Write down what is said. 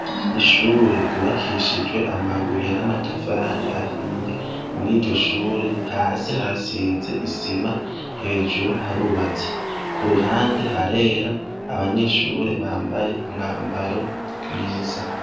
Ishure ryubakishijwe amabuye n'amatafari ahiye muri iryoshure hasi harasize isima hejuru harubatse ku ruhande harera abanyeshure bambaye umwambaro mwiza.